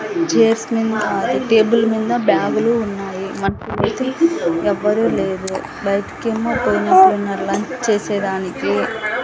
Chairs మీద అదే table మీద బ్యాగు లు ఉన్నాయి మనుషులైతే ఎవరూ లేరు బయటికి ఏమో పోయినట్లు ఉన్నారు. లంచ్ చేసేదానికి.